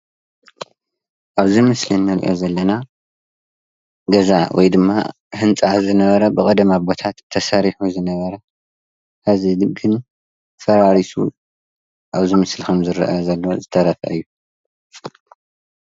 ኣብዚ ምስሊ ንሪኦ ዘለና ገዛ ወይ ድማ ህንፃ ዝነበረ ብቐደም ኣቦታት ተሰሪሑ ዝነበረ ሕዚ ግን ፈራሪሱ ኣብዚ ምስሊ ከምዝርአ ዘሎ ዝተረፈ እዩ፡፡